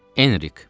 Enrik.